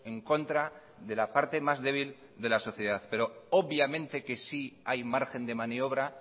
en contra de la parte más débil de la sociedad pero obviamente que sí hay margen de maniobra